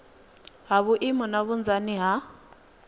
ha maimo na vhunzani ha